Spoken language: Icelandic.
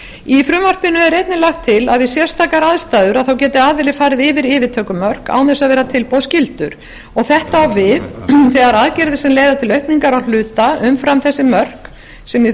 í frumvarpinu er einnig lagt til að við sérstakar aðstæður geti aðili farið yfir yfirtökumörk án þess að verða tilboðsskyldur þetta á við þegar aðgerðir sem leiða til aukningar á hluta umfram þessi mörk sem